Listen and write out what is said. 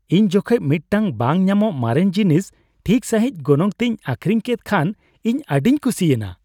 ᱤᱧ ᱡᱚᱠᱷᱮᱡ ᱢᱤᱫᱴᱟᱝ ᱵᱟᱝ ᱧᱟᱢᱚᱜ ᱢᱟᱨᱮᱱ ᱡᱤᱱᱤᱥ ᱴᱷᱤᱠ ᱥᱟᱹᱦᱤᱡ ᱜᱚᱱᱚᱝ ᱛᱮᱧ ᱟᱹᱠᱷᱨᱤᱧ ᱠᱮᱫ ᱠᱷᱟᱱ ᱤᱧ ᱟᱹᱰᱤᱧ ᱠᱩᱥᱤᱭᱮᱱᱟ ᱾